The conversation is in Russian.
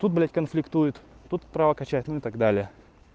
тут блядь конфликтует тут права качает ну и так далее